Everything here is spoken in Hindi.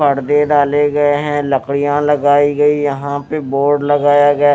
पर्दे डाले गए हैं लकड़ियां लगाई गई यहाँ पे बोर्ड लगाया गया--